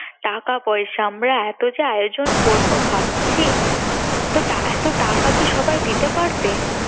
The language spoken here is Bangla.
টাকা পয়সা আমরা এত যে আয়োজন করবো ভাবছি তো এত টাকা কি সবাই দিতে পারবে